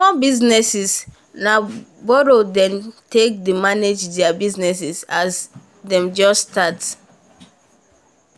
small business na borrow them take dey manage there business as them just start.